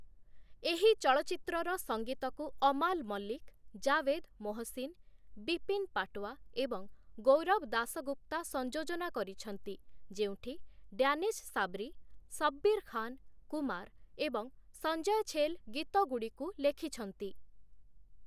ଏହି ଚଳଚ୍ଚିତ୍ରର ସଙ୍ଗୀତକୁ ଅମାଲ ମଲ୍ଲିକ, ଜାଭେଦ୍-ମୋହସିନ୍, ବିପିନ୍ ପାଟୱା, ଏବଂ ଗୌରବ ଦାସଗୁପ୍ତା ସଂଯୋଜନା କରିଛନ୍ତି, ଯେଉଁଠି ଡ୍ୟାନିଶ ସାବ୍ରି, ଶବ୍ବୀର ଖାନ, କୁମାର, ଏବଂ ସଞ୍ଜୟ ଛେଲ ଗୀତଗୁଡ଼ିକୁ ଲେଖିଛନ୍ତି ।